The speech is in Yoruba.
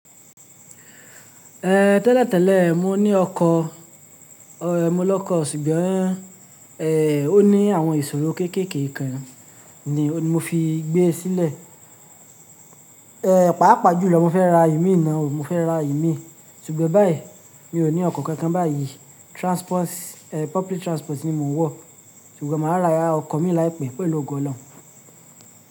Eh, tẹ́lẹ̀tẹ́lẹ̀ mo ní ọkọ̀, ẹmu lọ́kọ̀, ṣùgbọ́n eh, ó ní àwọn ìṣòro kéékèèké kan ni mo fi gbé é sílẹ̀. Eh, pàápàá jùlọ mo fẹ́ ra ìmí naa ó, mo fẹ́ ra ìmí, ṣùgbọ́n báyìí mi ò ní ọkọ̀ kankan báyìí. Transports, eh public transport ni mò ń wọ̀, ṣùgbọ́n mà á ra ọkọ̀ mi láìpẹ́ pẹ̀lú ọgọ́ lọ́nà.